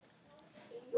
Skál Bangsi.